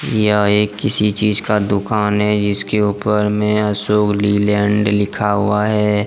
यह एक किसी चीज का दुकान है जिसके ऊपर में अशोक लीलैंड लिखा हुआ है।